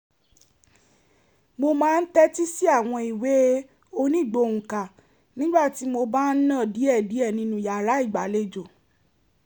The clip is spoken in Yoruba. mo máa ń tẹ́tí sí àwọn ìwé onígbohùnkà nígbà tí mo bá ń nà diẹ̀díẹ̀ nínú yàrá ìgbàlejò